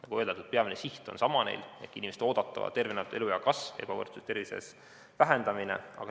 Nagu öeldud, peamine siht on neil sama: inimeste oodatava elu- ja tööea kasv ning tervises valitseva ebavõrdsuse vähendamine.